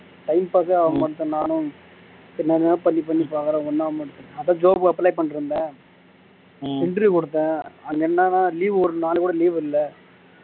timepass ஏ ஆகமாட்டுதுனு நானும் எல்லாமே பண்ணி பண்ணி பாக்குறேன் ஒன்னும் ஆகமாட்டுது அப்போ job apply பண்ணீருந்தேன் interview குடுத்தேன் அது என்னனா leave ஒரு நாள் கூட leave இல்ல